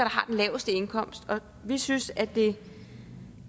har den laveste indkomst og vi synes at det